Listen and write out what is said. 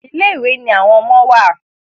Ilé ìwé ní àwọn ọmọ wá.